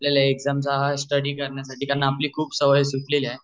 आपल्याला हा एग्जाम चा स्टडी कार्यासाठी कारण की आपली खूप सवय सुटलेली आहे.